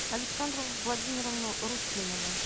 александру владимировну русинову